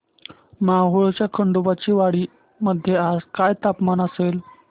मोहोळच्या खंडोबाची वाडी मध्ये आज काय तापमान असेल